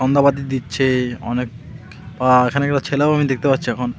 সন্ধ্যাবাতি দিচ্ছে অনেক বা এখানে অনেক ছেলেও আমি দেখতে পাচ্ছি এখন.